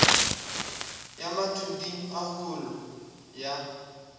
ya mathuding a holo ya